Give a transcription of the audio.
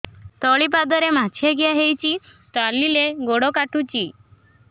ତଳିପାଦରେ ମାଛିଆ ଖିଆ ହେଇଚି ଚାଲିଲେ ବଡ଼ କାଟୁଚି